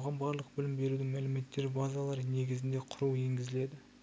оған барлық білім берудің мәліметтер базалары негізінде құру енгізіледі